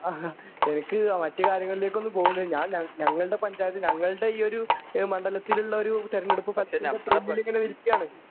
അഹാ എനിക്ക് മറ്റു കാര്യങ്ങളിലേക്ക് ഒന്നും പോകുന്നില്ല ഞാൻ ഞാ ഞങ്ങളുടെ പഞ്ചായത്ത് ഞങ്ങളുടെ ഈ ഒരു മണ്ഡലത്തിൽ ഏഹ് മണ്ഡലത്തിൽ ഉള്ള ഒരു തിരഞ്ഞെടുപ്പ് ഫലത്തിൻ്റെ ത്രില്ലിലിങ്ങനെ ഇരിക്കുവാണ്.